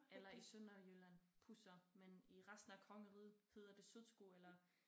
Eller i Sønderjylland pusser men i resten af kongeriget hedder det sutsko eller